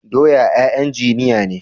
Doya 'ya'yan jijiya ne.